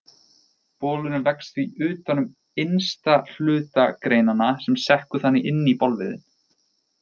Bolurinn vex því utan um innsta hluta greinanna sem sekkur þannig inn í bolviðinn.